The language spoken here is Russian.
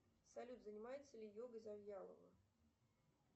салют занимается ли йогой завьялова